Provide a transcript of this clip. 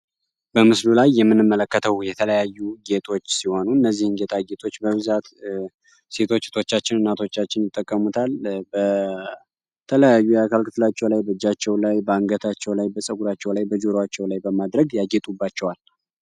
በምስሉ ላይ የምንመለከተው የተለያዩ አይነት ጌጦች ሲሆኑ እነዚህ ጌጦች በብዛት ሴቶች እህቶታችን፣ እናቶቻችን ይጠቀሙታል። የተለያዩ የአካል ክፍላቸው ላይ በእጃቸው ላይ፣ በአንገታቸው ላይ፣ በጸጉራቸው ላይ፣ በጆሯቸው ላይ በማድረግ ያጌጡባቸዋል።